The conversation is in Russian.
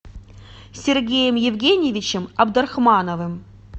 сергеем евгеньевичем абдрахмановым